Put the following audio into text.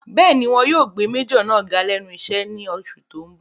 Bẹ́ẹ̀ni, wọn yóò gbé májọ̀ náà ga lẹ́nu iṣẹ́ ní oṣù tó n bọ̀